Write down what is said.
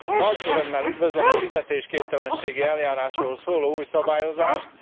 Nagy örömmel üdvözlöm a fizetésképtelenségi eljárásról szóló új szabályozást.